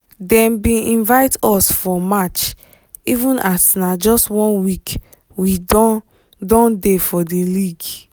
dem bin invite us for match even as na just one week wey we don don dey for di league